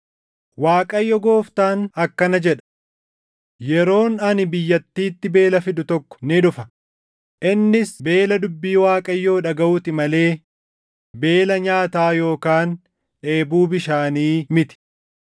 Waaqayyo Gooftaan akkana jedha; “Yeroon ani biyyattiitti beela fidu tokko ni dhufa; innis beela dubbii Waaqayyoo dhagaʼuu ti malee beela nyaataa yookaan dheebuu bishaanii miti.